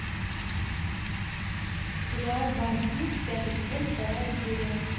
сериал ван пис пятый сезон вторая серия